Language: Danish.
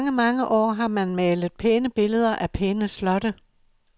I mange, mange år har man malet pæne billeder af pæne slotte.